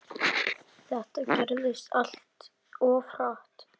Þetta gerðist allt of hratt.